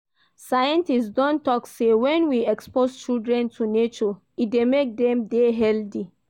Scientist don talk sey when we expose children to nature, e dey make dem dey healthy